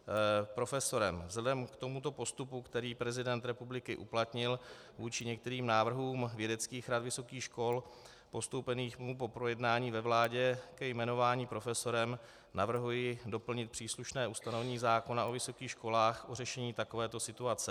Vzhledem k tomuto postupu, který prezident republiky uplatnil vůči některým návrhům vědeckých rad vysokých škol postoupeným mu po projednání ve vládě ke jmenování profesorem, navrhuji doplnit příslušné ustanovení zákona o vysokých školách o řešení takovéto situace.